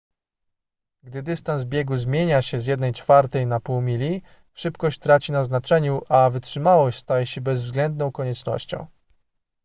gdy dystans biegu zmienia się z jednej czwartej na pół mili szybkość traci na znaczeniu a wytrzymałość staje się bezwzględną koniecznością